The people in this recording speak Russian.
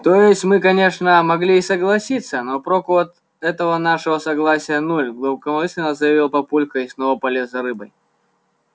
то есть мы конечно могли и согласиться но проку от этого нашего согласия нуль глубокомысленно заявил папулька и снова полез за рыбой